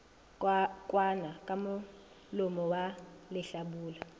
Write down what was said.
kwanwa ka molomo wa lehlabula